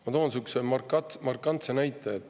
Ma toon sihukese markantse näite.